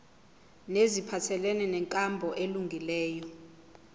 neziphathelene nenkambo elungileyo